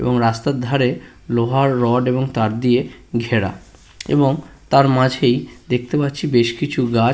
এবং রাস্তার ধারে লোহার রড এবং তার দিয়ে ঘেরা এবং তার মাঝেই দেখতে পাচ্ছি বেশ কিছু গাছ।